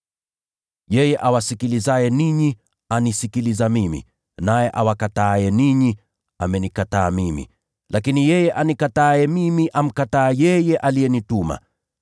“Yeye awasikilizaye ninyi anisikiliza mimi; naye awakataaye ninyi amenikataa mimi. Lakini yeye anikataaye mimi amkataa yeye aliyenituma.”